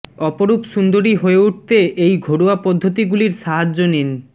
অপরূপ সুন্দরি হয়ে উঠতে এই ঘরোয়া পদ্ধতিগুলির সাহায্য নিন